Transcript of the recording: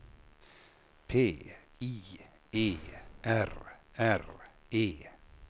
P I E R R E